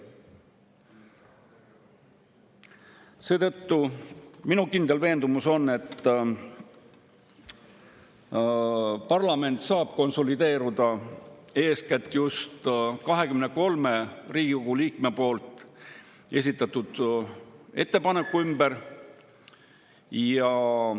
Seetõttu on minu kindel veendumus, et parlament saab konsolideeruda eeskätt just 23 Riigikogu liikme esitatud ettepaneku ümber.